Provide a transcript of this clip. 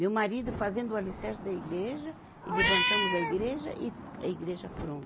Meu marido fazendo o alicerce da igreja e levantamos a igreja e a igreja pronta.